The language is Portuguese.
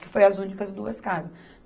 que foi as únicas duas casas.